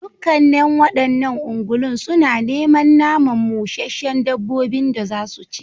Dukkanen wa'annan ungulun suna neman naman musheshshen dabbabin da zasu ci